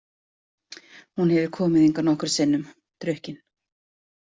Hún hefur komið hingað nokkrum sinnum, drukkin.